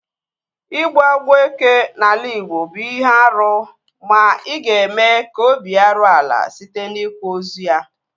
Ịgbu agwọ eke n'ala igbo bụ ihe árú ma ị ga-eme ka obi ya ruo ala site n'ikwa ozu ya